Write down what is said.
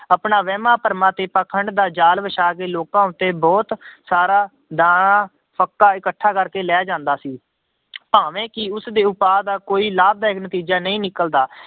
ਆਪਣਾ ਵਹਿਮਾਂ ਭਰਮਾਂ ਤੇ ਪਾਖੰਡ ਦਾ ਜ਼ਾਲ ਵਿਛਾ ਕੇ ਲੋਕਾਂ ਉੱਤੇ ਬਹੁਤ ਸਾਰਾ ਦਾਣਾ ਫ਼ੱਕਾ ਇਕੱਠਾ ਕਰਕੇ ਲੈ ਜਾਂਦਾ ਸੀ ਭਾਵੇਂ ਕਿ ਉਸਦੇ ਉਪਾਅ ਦਾ ਕੋਈ ਲਾਭਦਾਇਕ ਨਤੀਜਾ ਨਹੀਂ ਨਿਕਲਦਾ।